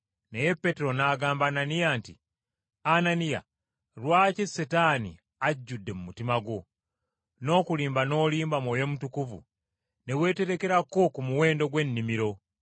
Naye Peetero n’agamba Ananiya nti, “Ananiya, lwaki Setaani ajjudde mu mutima gwo, n’okulimba n’olimba Mwoyo Mutukuvu ne weeterekerako ku muwendo gw’ennimiro?